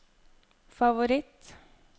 favoritt